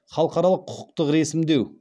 халықаралық құқықтық ресімдеу